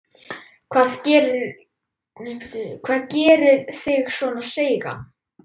Hvað gerir þig svona seigan?